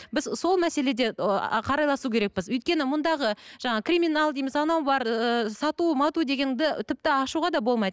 біз сол мәселеде ы қарайласу керекпіз өйткені мұндағы жаңағы криминал дейміз анау бар ыыы сату дегенді тіпті ашуға да болмайды